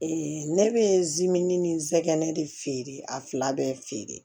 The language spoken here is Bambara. ne bɛ ni zɛgɛnɛ de feere a fila bɛɛ feere